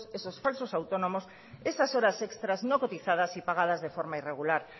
esos falsos autónomos esas horas extras no cotizadas y pagadas de forma irregular